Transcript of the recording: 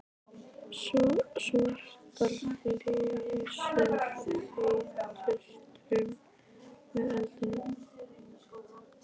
Svartar flygsur þeyttust upp með eldinum.